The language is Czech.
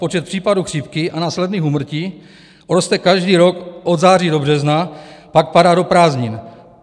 Počet případů chřipky a následných úmrtí roste každý rok od září do března, pak padá do prázdnin.